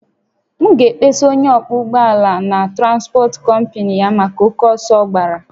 M ga-akpesa onye ọkwọ ụgbọ ala a na transpọt kọmpnị ya maka oke ọsọ ọ gbàrà